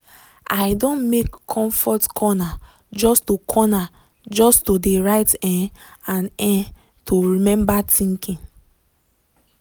i don make comfort corner just to corner just to de write um and um to remember thinking.